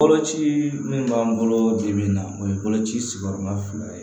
Boloci min b'an bolo bi min na o ye boloci sigiyɔrɔma fila ye